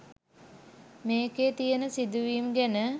මේකේ තියෙන සිදුවීම් ගැන